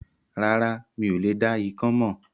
Rárá, mi ò dá ikán mọ̀